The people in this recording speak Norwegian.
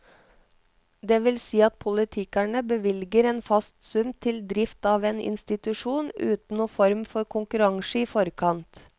Det vil si at politikerne bevilger en fast sum til drift av en institusjon, uten noen form for konkurranse i forkant.